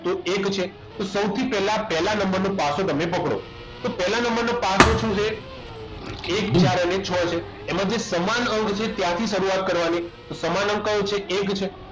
તો એક છે સૌથી પહેલા પહેલા નંબર નો પાસો તમે પકડો તો પહેલા નંબરનો પાછો શું છે એક ચાર અને છ છે એમાં જે સમાન અંક છે ત્યાંથી શરૂઆત કરવાની તો સમાન અંક કયો છે એક છે